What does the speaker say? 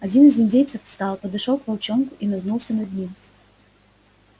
один из индейцев встал подошёл к волчонку и нагнулся над ним